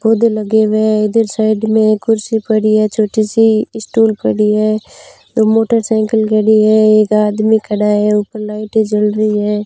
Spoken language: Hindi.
पौधे लगे हुए है इधर साइड में कुर्सी पड़ी है छोटी सी स्टूल पड़ी है दो मोटरसाइकिल खड़ी है एक आदमी खड़ा है ऊपर लाइटें जल रही है।